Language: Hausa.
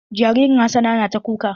Jaririn Hassana na ta kuka.